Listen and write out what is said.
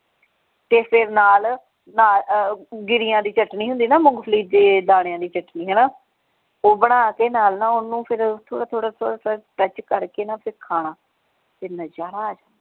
ਤੇ ਫੇਰ ਨਾਲ ਨਾਲ ਗਿਰੀਆਂ ਦੀ ਚਟਨੀ ਹੁੰਦੀ ਹੈ ਨਾ ਮੂੰਗਫਲੀ ਦੇ ਦਾਣਿਆਂ ਦੀ ਚਟਨੀ ਹਣਾ ਉਹ ਬਣਾ ਕੇ ਨਾਲ ਨਾ ਓਹਨੂੰ ਫੇਰ ਥੋੜਾ ਥੋੜਾ ਥੋੜਾ ਥੋੜਾ ਕਰਕੇ ਨਾ ਫੇਰ ਖਾਣਾ ਤੇ ਨਜਾਰਾ ਆ ਜਾਉ।